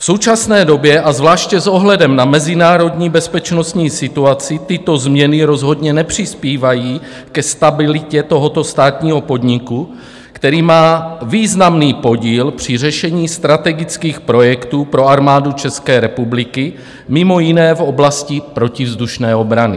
V současné době a zvláště s ohledem na mezinárodní bezpečnostní situaci tyto změny rozhodně nepřispívají ke stabilitě tohoto státního podniku, který má významný podíl při řešení strategických projektů pro Armádu České republiky, mimo jiné v oblasti protivzdušné obrany.